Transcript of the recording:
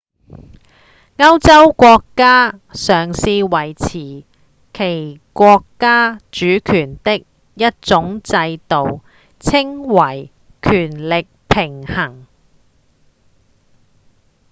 歐洲國家嘗試維持其國家主權的一種制度稱為權力平衡